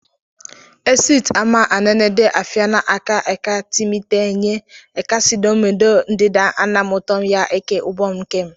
Esịt ama enen̄ede afịna eka eka mi nte enye ekesidomode ndida nnam utom ye eke ubon n̄kem.